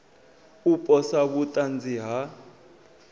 u posa vhut anzi ha